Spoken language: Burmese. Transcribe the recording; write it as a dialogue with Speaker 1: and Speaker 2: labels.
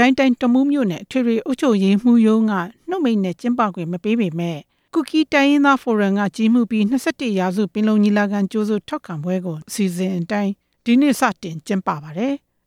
Speaker 1: ိုင်းတိုင်း တမူးမြို့နယ် အထွေထွေအုပ်ချုပ်ရေးရုံးက ကျင်းပခွင့် ပိတ်ပင်လိုက်ပေမယ့် ကူကီးတိုင်းရင်းသားဖိုရမ်ကျင်းပရေး ကော်မတီက ကြီးမှူးတဲ့ ၂၁ ရာစု ပင်လုံညီလာခံကြိုဆို ထောက်ခံပွဲကို နဂိုအစီအစဉ်အတိုင်း ဒီနေ့ စတင်ကျင်းပပါတယ်။